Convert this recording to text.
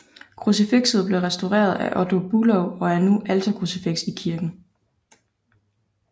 Krucifikset blev restaureret af Otto Bülow og er nu alterkrucifiks i kirken